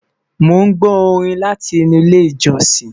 Mon gbó Orin láti inú ilé ìjósìn